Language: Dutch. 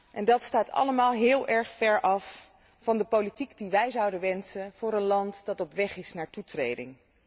En dat staat allemaal heel erg ver af van de politiek die wij zouden wensen voor een land dat op weg is naar toetreding.